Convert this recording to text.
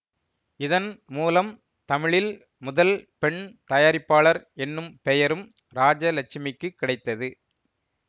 இதன் மூலம் தமிழில் முதல் பெண் தயாரிப்பாளர் என்னும் பெயரும் ராஜலட்சுமிக்குக் கிடைத்தது